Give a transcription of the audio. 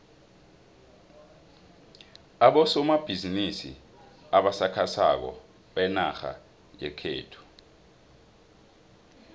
abosomabhizimisi abasakhasako benarha yekhethu